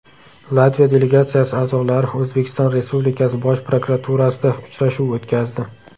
Latviya delegatsiyasi a’zolari O‘zbekiston Respublikasi Bosh prokuraturasida uchrashuv o‘tkazdi.